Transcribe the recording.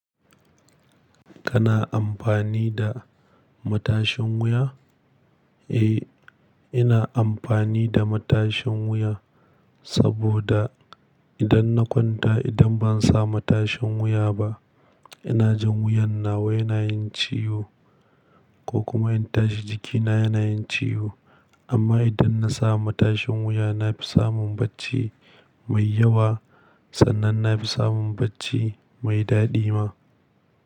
Kana amfani da matashin wuya? Eh, ina amfani da matashin wuya saboda idan na kwanta idan ban sa matashin wuya ba, ina jin wuyan nawa yana yin ciwo ko kuma in tashi jikina yana yin ciwo. Amma idan na sa matashin wuya na fi samun bacci mai yawa sannan na fi samun bacci mai daɗi ma.